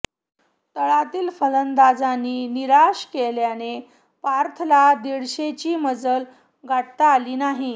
तळातील फलंदाजांनी निराशा केल्याने पर्थला दीडशेची मजल गाठता आली नाही